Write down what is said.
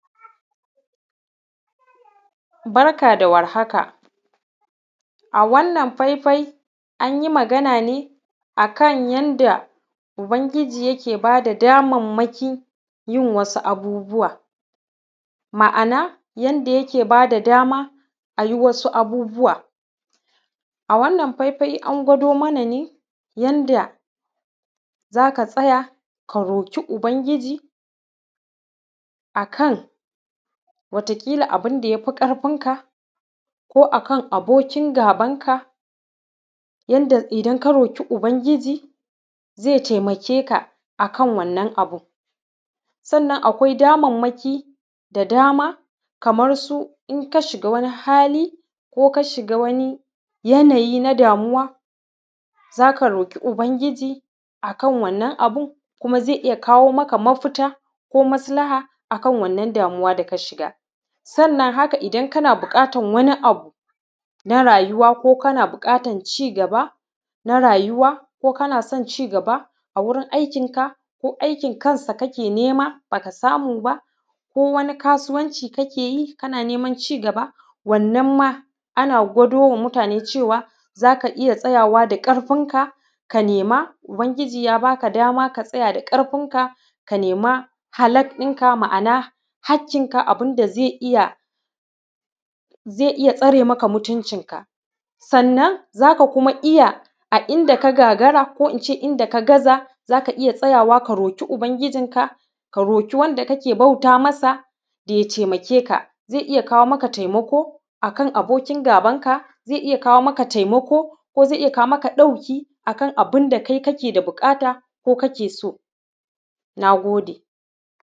Barka da warhaka a wannan faifai an yi magana ne yanda ubangiji yake bada daman yin wasu abubuwa, ma’ana yanda yake bada dama a yi wasu abubuwa. A wannan faifai an gwado mana ne yanda za ka tsaya ka roƙi ubangiji akan wataƙila abun da ya fi ƙarfin ka ko akan abokingaban ka yanda idan ka roƙi ubangiji ze taimake ka akan wanna abun, sannna akwai damanmaki da dama kaman su in ka shiga wani hali ko ka shiga wani yanayi na damuwa zaka roƙi ubangiji akan wannan abun kuma ze iya kawo maka mafita ko maslaha kan wannan damuywa da ka shiga. Sannan haka idan kana buƙatan wani abu na rayuwa ko kana buƙatan ci gaba na rayuwa ko kana son ci gaba a wurin aikinka ko aikin ka kake nema ba ka samu ba, kowani kasuwanci kake yi kana neman ci gaba, wannan ma ana gwado da muatane cewa za ka iya tsayawa da ƙarfinka ka nema ubangiji ya ba ka dama ka tsaya da ƙarfink, aka nema haka in ka ma’ana haƙinka. Ma’ana abun da ze iya ze iya tsare maka mutuncinka sannan za ka kuma iya a inda ka gagara ko in ce inda ka gaza za ka iya tsayawa ka roƙi ubangijinka ka roƙi wanda kake bauta masa da ya taimake ka, ze iya kawo maka taimako akan abokin gabanka ze iya kawo maka taimaka ke ya kawo maka ɗauki akan abun da kake da buƙata ko kake so. Na gode.